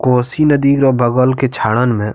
कोसी नदी के बगल के झाड़न में --